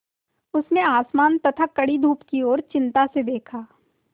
उसने आसमान तथा कड़ी धूप की ओर चिंता से देखा